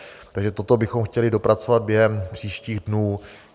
Takže toto bychom chtěli dopracovat během příštích dnů.